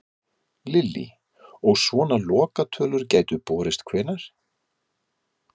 Lillý: Og svona lokatölur gætu borist hvenær?